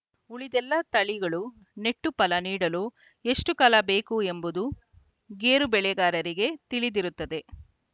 ಉಳಿದೆಲ್ಲ ತಳಿಗಳು ನೆಟ್ಟು ಫಲ ನೀಡಲು ಎಷ್ಟುಕಾಲ ಬೇಕು ಎಂಬುದು ಗೇರು ಬೆಳೆಗಾರರಿಗೆ ತಿಳಿದಿರುತ್ತದೆ